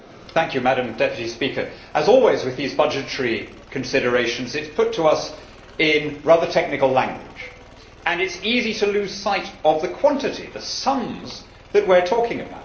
Madam President, as always with these budgetary considerations, it is put to us in rather technical language and it is easy to lose sight of the quantity the sums that we are talking about.